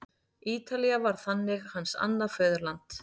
Ítalía varð þannig hans annað föðurland.